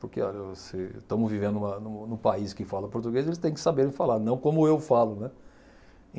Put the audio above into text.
Porque olha se estamos vivendo numa num num país que fala português, eles têm que saber falar, não como eu falo, né.